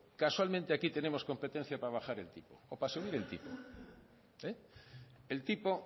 casualmente aquí tenemos competencia para bajar el tipo o para subir al tipo el tipo